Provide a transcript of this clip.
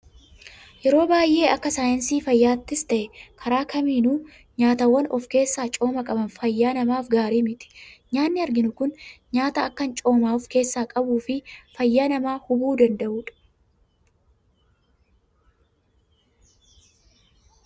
Yeroo baayyee akka saayinsii fayyaattis ta'ee karaa kamiinuu nyaataawwan of keessaa cooma qaban fayyaa namaaf gaarii miti. Nyaanni arginu Kun nyaata akkaan cooma of keessaa qabuu fi fayyaa namaa hubuu danda'udha.